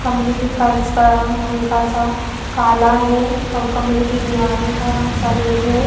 कमरे के फर्श का रंग हल्का-सा काला है और कमरे की दीवालों का रंग सफ़ेद है।